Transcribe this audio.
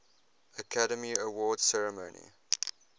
academy awards ceremony